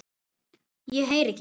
ég heyri ekki.